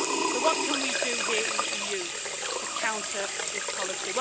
So what can we do here in the EU to counter this policy?